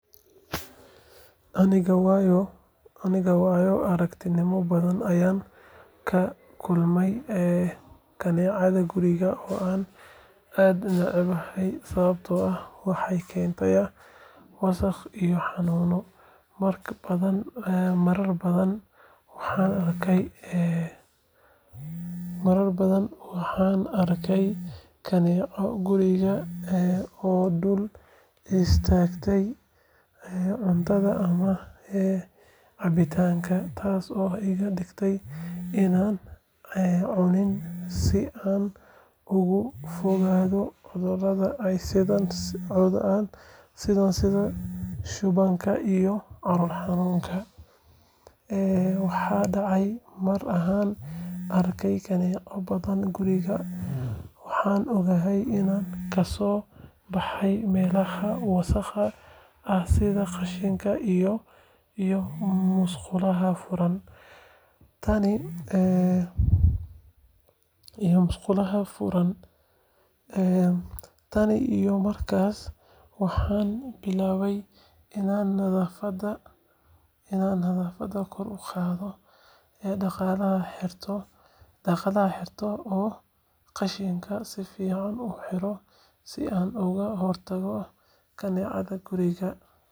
Aniga waayo aragnimo badan ayaan la kulmay kaneecada guriga oo aan aad u necbahay sababtoo ah waxay keentaa wasakh iyo xanuuno. Marar badan waxaan arkay kaneecada guriga oo dul istaagtay cuntada ama cabitaanka, taasoo iga dhigtay inaanan cunin si aan uga fogaado cudurrada ay sidaan sida shubanka iyo calool xanuunka. Waxaa dhacday mar aan arkay kaneeco badan guriga, waxaan ogaaday inay kasoo baxayaan meelaha wasakhda ah sida qashinka iyo musqulaha furan. Tan iyo markaas waxaan billaabay inaan nadaafadda kor u qaado, daaqadaha xirto, oo qashinka si fiican u xidho si aan uga hortago kaneecada guriga.